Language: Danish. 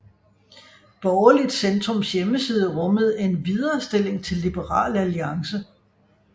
Borgerligt Centrums hjemmeside rummede en viderestilling til Liberal Alliance